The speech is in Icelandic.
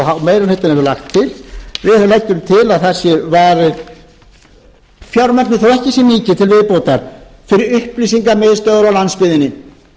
lagt til að við höfum lagt til að það sé varið fjármagni þó ekki sé mikið til viðbótar fyrir upplýsingamiðstöðvar á landsbyggðinni